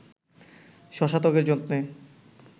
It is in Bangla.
শশা ত্বকের যত্নে